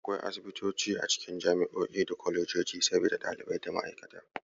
Akwai Asibitoci a cikin jami'o'i da kolejoji saboda ɗalibai da ma'aikata.